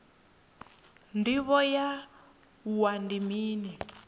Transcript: ndivho ya wua ndi mini